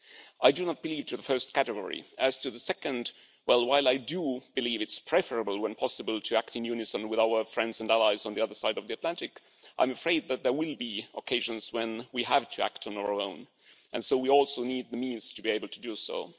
I do not believe in the first category, and as to the second, well, while I do believe it's preferable, when possible, to act in unison with our friends and allies on the other side of the Atlantic, I'm afraid that there will be occasions when we have to act on own, and so we also need the means to be able to do